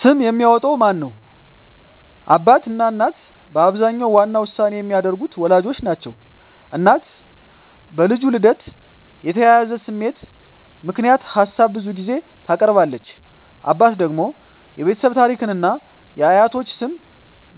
ስም የሚያወጣው ማን ነው? አባትና እናት በአብዛኛው ዋና ውሳኔ የሚያደርጉት ወላጆች ናቸው። እናት በልጁ ልደት የተያያዘ ስሜት ምክንያት ሀሳብ ብዙ ጊዜ ታቀርባለች። አባት ደግሞ የቤተሰብ ታሪክን እና የአያቶች ስም